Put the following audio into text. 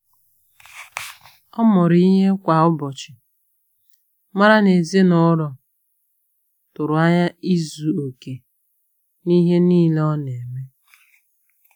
Ọ́ mụrụ ìhè kwá ụ́bọ̀chị̀, mara nà èzínụ́lọ́ tụ́rụ́ ányá ízu ókè n’íhé níílé ọ nà-émé.